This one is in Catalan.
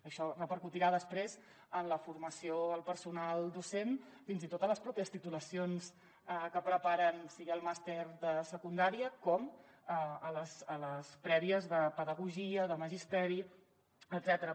això repercutirà després en la formació al personal docent fins i tot a les pròpies titulacions que preparen sigui el màster de secundària com a les prèvies de pedagogia de magisteri etcètera